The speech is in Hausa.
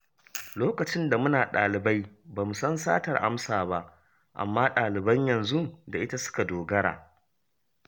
Lokacin da muna ɗalibai ba mu san satar amsa ba, amma ɗaliban yanzu da ita suka dogara